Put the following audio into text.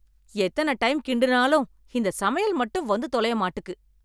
எத்தனை டைம் கிண்டுனாலும் இந்த சமையல் மட்டும் வந்து தொலையமாட்டுக்கு.